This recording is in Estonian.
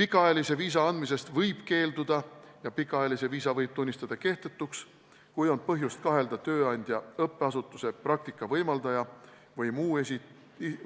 Pikaajalise viisa andmisest võib keelduda ja pikaajalise viisa võib tunnistada kehtetuks, kui on põhjust kahelda tööandja, õppeasutuse, praktika võimaldaja või mõne